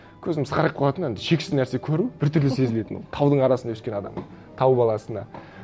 көзім сығырайып қалатын енді шексіз нәрсе көру біртүрлі сезілетін ол таудың арасында өскен адамға тау баласына